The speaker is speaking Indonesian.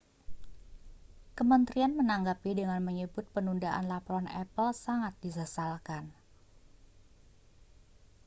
kementerian menanggapi dengan menyebut penundaan laporan apple sangat disesalkan